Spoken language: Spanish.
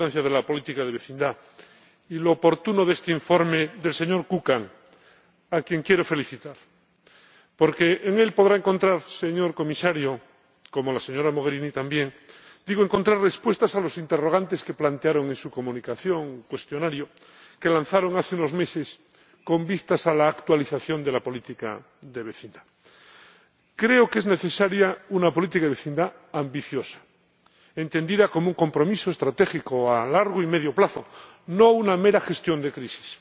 Señor Presidente, yo quiero destacar la importancia de la política de vecindad y lo oportuno de este informe del señor Kukan, a quien quiero felicitar. Porque en él podrá encontrar, señor Comisario —como la señora Mogherini también—, respuestas a los interrogantes que plantearon en la comunicación o cuestionario que lanzaron hace unos meses con vistas a la actualización de la política de vecindad. Creo que es necesaria una política de vecindad ambiciosa, entendida como un compromiso estratégico a largo y medio plazo, no una mera gestión de crisis